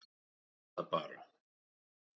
Gerum þetta bara!